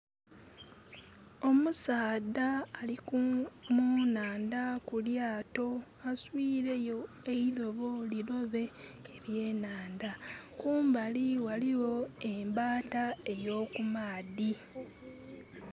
Omusaadha ali ku nhandha mu lyaato aswiire yo eilobo lilobe eby'enhandha. Kumbali ghaligho embaata eby'omumaadhi.